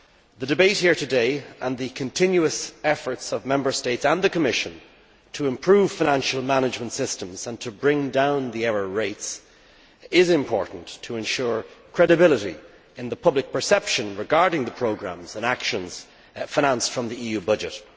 The debate here today, and the continuous efforts of Member States and the Commission to improve financial management systems and to bring down error rates, is important to ensure credibility in the public perception regarding the programmes and actions financed from the EU budget.